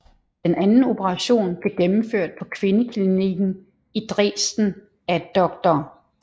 Den anden operation blev gennemført på kvindeklinikken i Dresden af dr